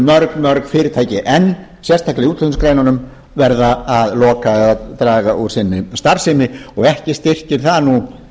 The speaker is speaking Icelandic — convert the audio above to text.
mörg mörg fyrirtæki enn sérstaklega í útflutningsgreinunum verða að loka eða draga úr sinni starfsemi og ekki styrkir það nú